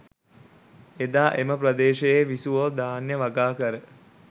එදා එම ප්‍රදේශයේ විසුවෝ ධාන්‍ය වගාකර